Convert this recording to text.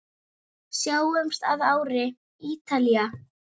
Sjáumst að ári, Ítalía.